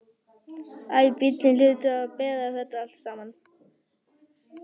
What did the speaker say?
Æ, bíllinn hlýtur að bera þetta allt saman.